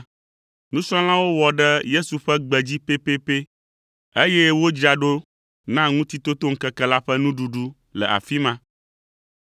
Nusrɔ̃lawo wɔ ɖe Yesu ƒe gbe dzi pɛpɛpɛ, eye wodzra ɖo na Ŋutitotoŋkeke la ƒe nuɖuɖu le afi ma.